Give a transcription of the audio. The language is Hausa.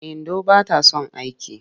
Indo ba ta son aiki.